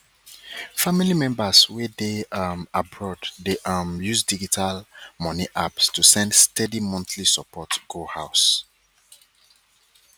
family members wey dey um abroad dey um use digital money apps to send steady monthly support go house